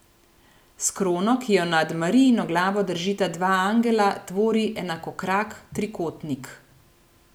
S krono, ki jo nad Marijino glavo držita dva angela, tvori enakokrak trikotnik.